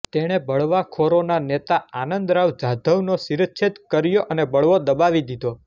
તેણે બળવાખોરોના નેતા આનંદરાવ જાધવનો શિરચ્છેદ કર્યો અને બળવો દબાવી દીધો